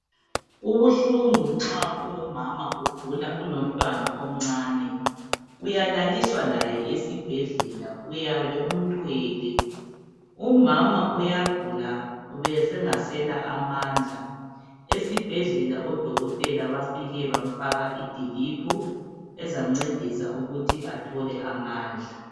Kubuhlungu nxa ungumama ugula ulomntwana omncane. Uyalaliswa laye esibhedlela uyabe umthwele. Umama uyagula ubesengasela amandla, esibhedlela odokotela bafike bamfaka idiliphu ezamncedisa ukuthi athole amandla.